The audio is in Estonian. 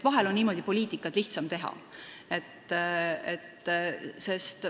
Vahel on poliitikat niimoodi lihtsam teha.